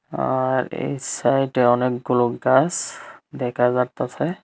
আ আর এই সাইডে অনেকগুলো গাছ দেখা যারতাছে।